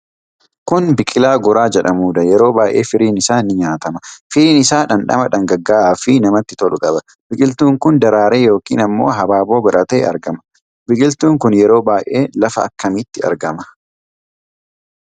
Kun biqilaa goraa jedhamuudha. Yeroo baay'ee firiin isaa ni nyaatama. Firiin isaa dhandhama dhangagga'aa fi namatti tolu qaba. Biqiltuun kun daraaree yookiin ammoo habaaboo godhatee argama. Biqiltuun kun yeroo baay'ee lafa akkamiitti argama?